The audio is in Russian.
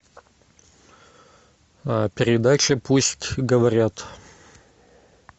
передача пусть говорят